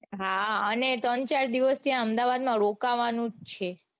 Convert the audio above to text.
હા અને ત્રણ ચાર દિવસ ત્યાં અમદાવાદમાં રોકાવાનું જ છે.